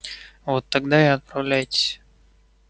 вот тогда и отправляйтесь